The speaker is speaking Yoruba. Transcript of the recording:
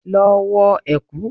Lọ wọ ẹ̀kú!